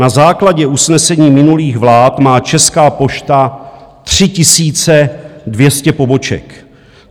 Na základě usnesení minulých vlád má Česká pošta 3 200 poboček.